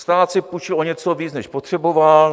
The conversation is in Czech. Stát si půjčil o něco víc, než potřeboval.